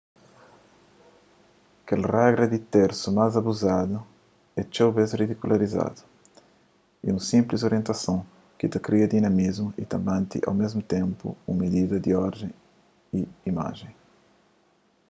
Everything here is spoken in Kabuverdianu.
kel regra di tersu más abuzadu y txeu bês ridikularizadu é un sinplis orientason ki ta kria dinamismu y ta mante au mésmu ténpu un midida di orden nun imajen